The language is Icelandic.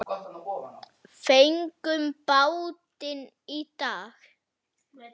Fengum bátinn í dag.